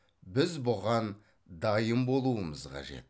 біз бұған дайын болуымыз қажет